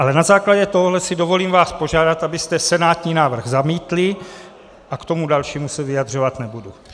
Ale na základě tohohle si dovolím vás požádat, abyste senátní návrh zamítli, a k tomu dalšímu se vyjadřovat nebudu.